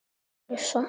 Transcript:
Guð er nær.